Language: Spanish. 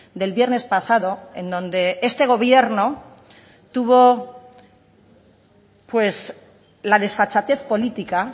del viernes pasado en donde este gobierno tuvo pues la desfachatez política